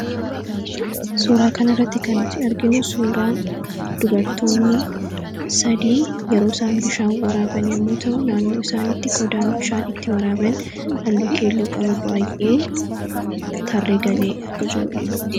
suuraa kana irratti kan nuti arginu suuraa dubartoonni sadii yeroo isaan bishaan waraaban yommuu ta'u naannoo isaanitti qodaan bishaan itti waraaban hallu keelloo qabu baay'een tarree galee akka jiruudha.